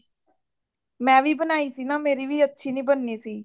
ਮੈਂ ਵੀ ਬਣਾਈ ਸੀ ਨਾ ਮੇਰੀ ਵੀ ਅੱਛੀ ਨਹੀਂ ਬਣੀ ਸੀ